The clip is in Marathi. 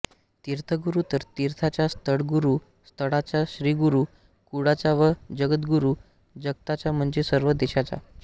तीर्थगुरु तीर्थाचा स्थळगुरु स्थळाचा श्रीगुरु कुळाचा व जगद्गुरु जगताचा म्हणजे सर्व देशाचा